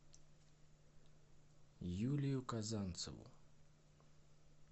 юлию казанцеву